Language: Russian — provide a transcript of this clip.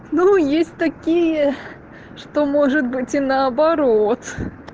ну есть такие что может быть и наоборот